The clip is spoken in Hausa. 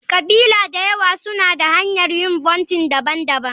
ƙabila da yawa suna da hanyar yin vounting daban-daban.